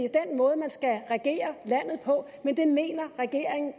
måde man skal regere landet på men det mener regeringen